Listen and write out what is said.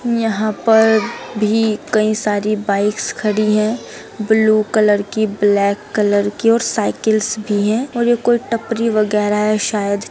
यहां पर भी कई सारी बाइक्स खड़ी है ब्लू कलर की ब्लेक कलर की और साइकिल्स भी है और ये कोई टपरी वगेरा है सायद ।